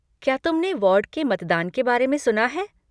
क्या तुमने वॉर्ड के मतदान के बारे में सुना है?